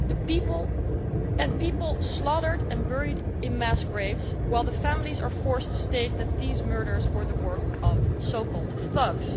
People are slaughtered and buried in mass graves, while the families are forced to state that these murders were the work of so called thugs.